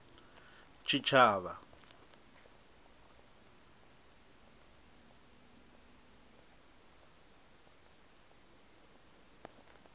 tshitshavha